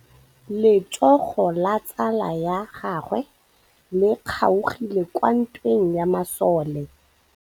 Letsôgô la tsala ya gagwe le kgaogile kwa ntweng ya masole.